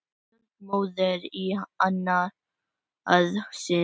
Stolt móðir í annað sinn.